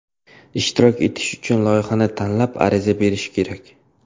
Ishtirok etish uchun loyihani tanlab, ariza berish kerak.